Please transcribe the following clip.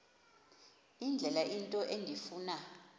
indlela into endifuna